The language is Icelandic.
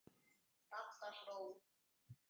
Dadda hló.